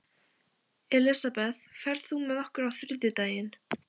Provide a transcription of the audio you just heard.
Elisabeth, ferð þú með okkur á þriðjudaginn?